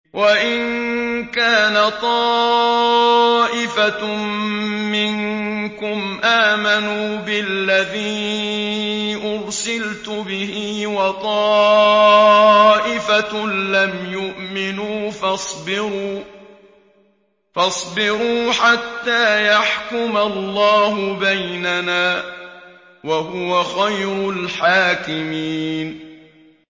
وَإِن كَانَ طَائِفَةٌ مِّنكُمْ آمَنُوا بِالَّذِي أُرْسِلْتُ بِهِ وَطَائِفَةٌ لَّمْ يُؤْمِنُوا فَاصْبِرُوا حَتَّىٰ يَحْكُمَ اللَّهُ بَيْنَنَا ۚ وَهُوَ خَيْرُ الْحَاكِمِينَ